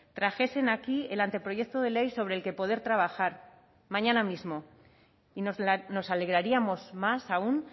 trajesen aquí el anteproyecto de ley sobre el que poder trabajar mañana mismo y nos alegraríamos más aún